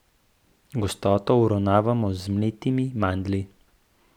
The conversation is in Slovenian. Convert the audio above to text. Gostoto uravnavamo z mletimi mandlji.